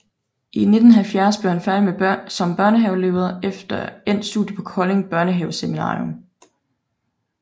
I 1970 blev han færdig som børnehavelærer efter endt studie på Kolding Børnehaveseminarium